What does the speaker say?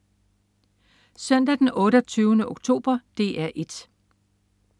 Søndag den 28. oktober - DR 1: